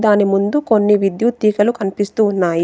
దాని ముందు కొన్ని విద్యుత్ తీగలు కనిపిస్తూ ఉన్నాయి.